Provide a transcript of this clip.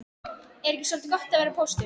Er ekki soldið gott að vera póstur?